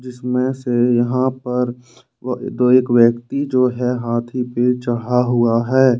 इसमें से यहां पर दो एक व्यक्ति जो है हाथी पे चढ़ा हुआ है।